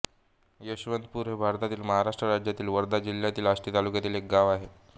यशवंतपूर हे भारतातील महाराष्ट्र राज्यातील वर्धा जिल्ह्यातील आष्टी तालुक्यातील एक गाव आहे